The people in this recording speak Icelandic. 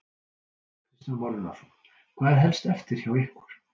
Kristján Már Unnarsson: Hvað er helst eftir hjá ykkur?